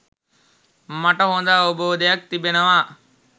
මට හොඳ අවබෝධයක් තිබෙනවා.